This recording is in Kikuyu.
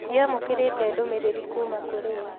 Ndiamũkĩrĩte ndũmĩrĩrĩ kuma kũrĩ we